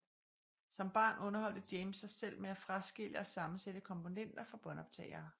Som barn underholdte James sig selv med at fraskille og sammensætte komponenter fra båndoptagere